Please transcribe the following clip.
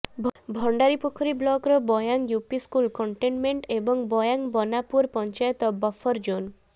ଭଣ୍ଡାରିପୋଖରୀ ବ୍ଳକର Bayan UP school containment ଏବଂ Bayanbanapur panchayat buffer zone